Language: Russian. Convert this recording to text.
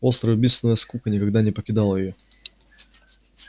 острая убийственная скука никогда не покидала её